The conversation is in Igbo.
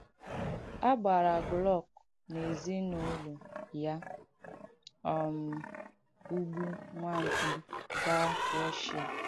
À gbàarā Glück na èzín’úlụ̀ ya um ùgbù nwà m̀kpí gaa Rùshià.